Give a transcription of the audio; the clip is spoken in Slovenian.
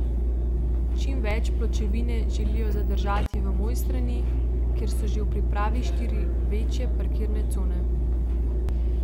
Čim več pločevine želijo zadržati v Mojstrani, kjer so že v pripravi štiri večje parkirne cone.